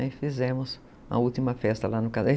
Aí fizemos a última festa lá no casarão.